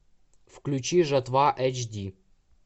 включи жатва эйч ди